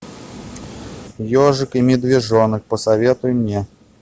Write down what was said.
ежик и медвежонок посоветуй мне